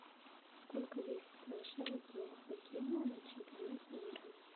сколько весит шайба хоккейная на чемпионате мира